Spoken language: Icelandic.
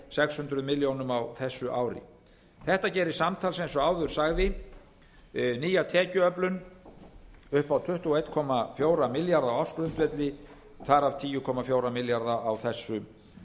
sex hundruð milljónir á þessu ári þetta gerir samtals eins og áður sagði nýja tekjuöflun upp á tuttugu og einn komma fjóra milljarða á ársgrundvelli þar af tíu komma fjóra milljarða á þessu